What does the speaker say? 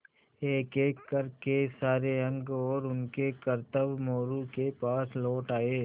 एकएक कर के सारे अंक और उनके करतब मोरू के पास लौट आये